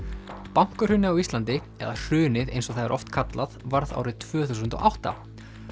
bankahrunið á Íslandi eða hrunið eins og það er oft kallað varð árið tvö þúsund og átta